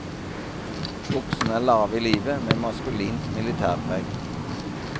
Buksene er lave i livet med maskulint militærpreg.